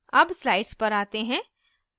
अब slides पर आते हैं